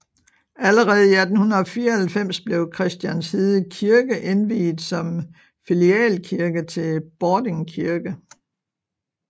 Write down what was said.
Allerede i 1894 blev Christianshede Kirke indviet som filialkirke til Bording Kirke